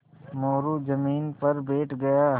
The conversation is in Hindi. मोरू ज़मीन पर बैठ गया